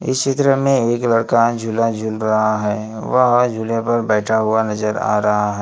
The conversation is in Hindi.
इस चित्र में एक लड़का झूला झूल रहा है वह झूले पर बैठा हुआ नजर आ रहा है।